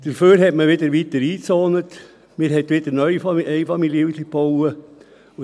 Stattdessen hat man weiter eingezont und wieder neue Einfamilienhäuser gebaut.